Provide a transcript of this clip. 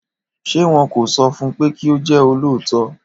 Ṣé wọn kò sọfun pé kí ó jẹ́ olóòótọ́?